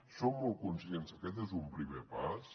som molt conscients que aquest és un primer pas